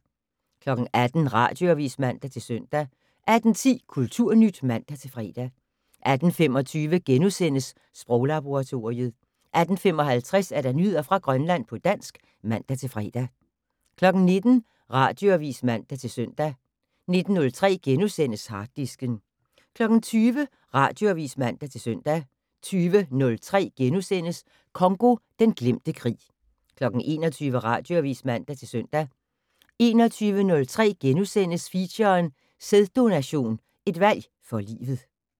18:00: Radioavis (man-søn) 18:10: Kulturnyt (man-fre) 18:25: Sproglaboratoriet * 18:55: Nyheder fra Grønland på dansk (man-fre) 19:00: Radioavis (man-søn) 19:03: Harddisken * 20:00: Radioavis (man-søn) 20:03: Congo - den glemte krig * 21:00: Radioavis (man-søn) 21:03: Feature: Sæddononation, et valg for livet *